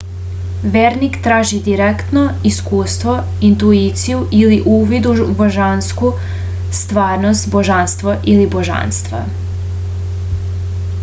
верник тражи директно искуство интуицију или увид у божанску стварност/божанство или божанства